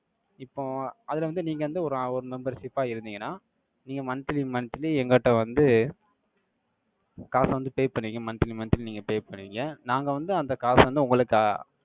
இப்போ, அதுல வந்து, நீங்க வந்து, ஒரு அ~ ஒரு membership ஆ இருந்தீங்கன்னா, நீங்க monthly monthly எங்க கிட்ட வந்து, காசை வந்து, pay பண்ணுவிங்க. Monthly monthly நீங்க, pay பண்னுவிங்க. நாங்க வந்து, அந்த காசு வந்து, உங்களுக்கு, ஆஹ்